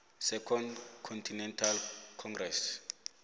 second continental congress